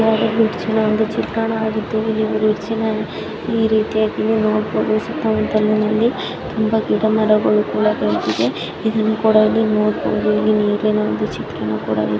ಯಾಡೋ bridge ಈ ರೀತಿಯಾಗಿ ನೋಡಬಹುದು ಸುತ್ತ ಮುತ್ತಲು ತುಂಬ ಗಿಡ ಮರಗಳು ಕೂಡ ಬೆಳದಿದೆ. ಇದನ್ನ ಕೂಡ ಇಲ್ಲಿ ನೋಡಬಹುದು ಇಲ್ಲಿ ನೀರಿನ ಒಂದು ಚಿತ್ರಾನೂ ಇದೆ.